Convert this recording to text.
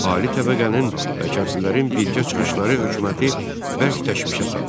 Ali təbəqənin kəndlilərin birgə çıxışları hökuməti bərk təşvişə saldı.